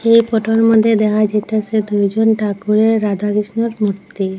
এই ফটোর মধ্যে দেখা যাইতাসে দুইজন ঠাকুরের রাধা কৃষ্ণোর মূর্তি।